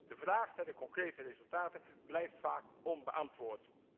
De vraag naar de concrete resultaten blijft vaak onbeantwoord.